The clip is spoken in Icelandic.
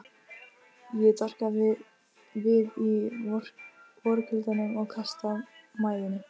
Ég doka við í vorkuldanum og kasta mæðinni.